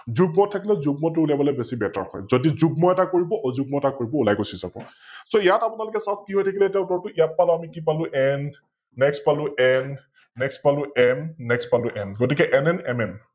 যুগ্মত থাকিলে যুগ্মটো উলিয়াবলৈ বেছি Better হয়, যদি যুগ্ম এটা কৰিব অযুগ্ম এটা কৰিব ওলাই গুছি যাৱ । So ইয়াত আপোনালোকে চাওক কি হৈ থাকিলে এতিয়া উত্তৰটো, ইয়াত পালো কি পালো, N, Next পালো NNext পালো MNext পালো M, গতিকে NNMM